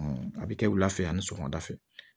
a bɛ kɛ wula fɛ ani sɔgɔmada fɛ